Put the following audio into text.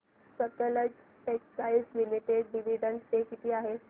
Sutlej textiles limited dividend pay किती आहे